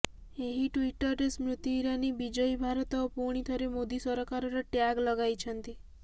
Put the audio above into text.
ଏହି ଟୁଇଟରେ ସ୍ମୃତି ଇରାନୀ ବିଜୟୀ ଭାରତ ଓ ପୁଣି ଥରେ ମୋଦି ସରକାରର ଟ୍ୟାଗ ଲଗାଇଛନ୍ତି